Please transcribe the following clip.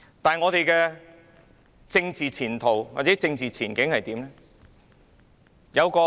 香港的政治前途或政治前景又如何？